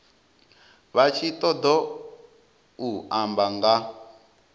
vha tshi ṱoḓou amba nga